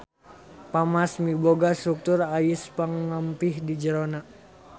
Pamass miboga struktur ais pangampih di jerona.